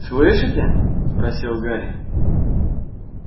слышите спросил гарри